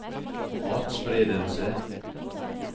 atspredelse